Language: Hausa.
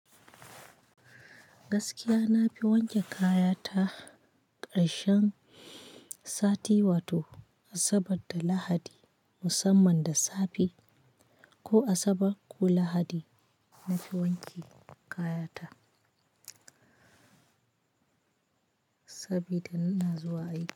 Gaskiya na fi wanke kaya ta karshen sati, wato Asabar da Lahadi musamman da safe ko Asabar ko Lahadi nafi wanke kaya ta sabida ina zuwa aiki.